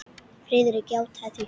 Friðrik játaði því.